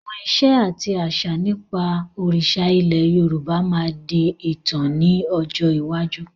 Àwọn ìṣe àti àṣà nípa òrìṣà ilẹ̀ Yorùbá máa di ìtàn ni ọjọ́ iwájú.